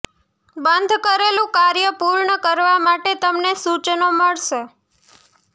બંધ કરેલું કાર્ય પૂર્ણ કરવા માટે તમને સૂચનો મળશે